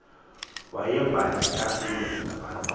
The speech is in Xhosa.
wayevana kakbulu nabantu